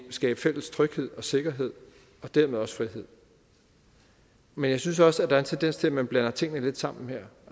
skabe fælles tryghed og sikkerhed og dermed også frihed men jeg synes også at der en tendens til at man blander tingene lidt sammen her